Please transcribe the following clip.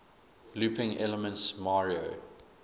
looping elements mario